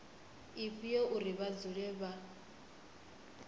ifhio uri vha dzule vha